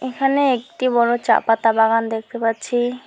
এখানে একটি বড়ো চা পাতা বাগান দেখতে পাচ্ছি।